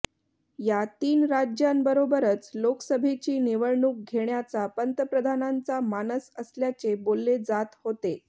या तीन राज्यांबरोबरच लोकसभेची निवडणूक घेण्याचा पंतप्रधानांचा मानस असल्याचे बोलले जात होते